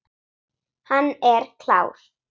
Hann er klár.